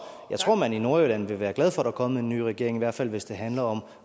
jeg tror at man i nordjylland vil være glad for er kommet en ny regering i hvert fald hvis det handler om